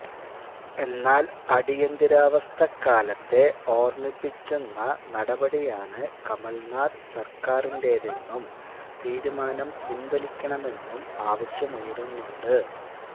എന്നാൽ അടിയന്തരാവസ്ഥക്കാലത്തെ ഓർമിപ്പിക്കുന്ന നടപടിയാണ് കമൽനാഥ് സർക്കാരിന്റേതെന്നും തീരുമാനം പിൻവലിക്കണമെന്നും ആവശ്യമുയരുന്നുണ്ട്